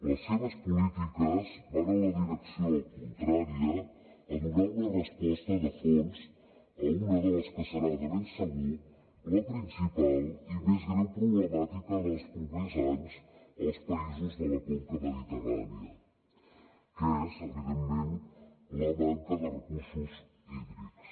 les seves polítiques van en la direcció contrària a donar una resposta de fons a una de les que serà de ben segur la principal i més greu problemàtica dels propers anys als països de la conca mediterrània que és evidentment la manca de recursos hídrics